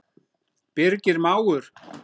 Birgir mágur.